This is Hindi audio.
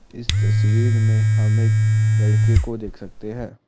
इस तस्वीर में हम एक लड़के को देख सकते हैं।